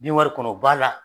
Bin wari kɔnɔ o b'a la,